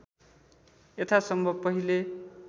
यथासम्भव पहिले